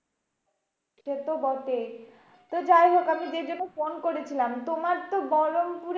set বটেই তো যাইহোক আমি যেই জন্য ফোন করেছিলাম, তোমার তো বহরমপুরে